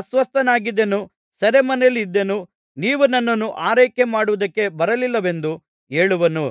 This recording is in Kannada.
ಅಸ್ವಸ್ಥನಾಗಿದ್ದೆನು ಸೆರೆಮನೆಯಲ್ಲಿದ್ದೆನು ನೀವು ನನ್ನನ್ನು ಆರೈಕೆಮಾಡುವುದಕ್ಕೆ ಬರಲಿಲ್ಲವೆಂದು ಹೇಳುವನು